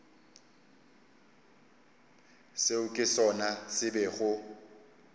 seo ke sona se bego